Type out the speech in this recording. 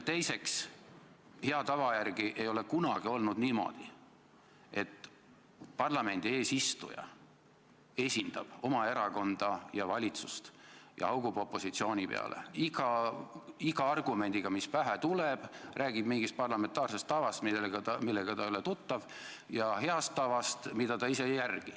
Teiseks, hea tava järgi ei ole kunagi olnud niimoodi, et parlamendi eesistuja esindab oma erakonda ja valitsust ning haugub opositsiooni peale iga argumendiga, mis pähe tuleb, räägib mingist parlamentaarsest tavast, millega ta ei ole tuttav, ja heast tavast, mida ta ise ei järgi.